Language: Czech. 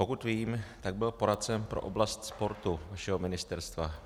Pokud vím, tak byl poradcem pro oblast sportu vašeho ministerstva.